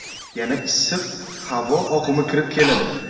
Yana issiq havo oqimi kirib keladi.